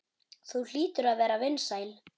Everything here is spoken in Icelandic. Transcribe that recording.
Þú hlýtur að vera vinsæl.